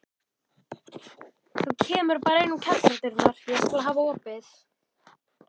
Þú kemur bara inn um kjallaradyrnar, ég skal hafa opið.